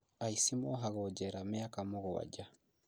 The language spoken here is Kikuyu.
Aici mohagwo njera mĩaka mũgwanja